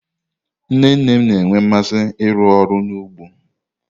Nne nne na-enwe mmasị ịrụ ọrụ n'ugbo.